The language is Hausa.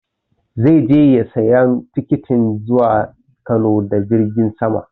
Zai je sayan tikitin zuwa Kano da jirgin sama